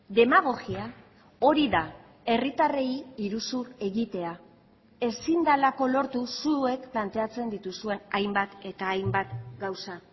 demagogia hori da herritarrei iruzur egitea ezin delako lortu zuek planteatzen dituzuen hainbat eta hainbat gauza